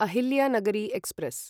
Ahilyanagari express